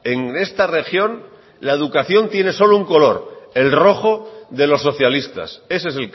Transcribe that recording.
en esta región la educación tiene solo un color el rojo de los socialistas ese es